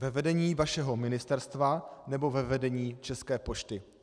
Ve vedení vašeho ministerstva, nebo ve vedení České pošty?